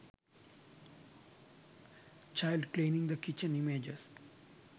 child cleaning the kitchen images